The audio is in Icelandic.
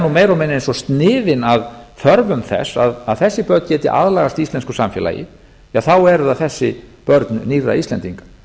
meira og minna eins og sniðin að þörfum þess að þessi börn geti aðlagast íslensku samfélagi þá eru það þessi börn nýrra íslendinga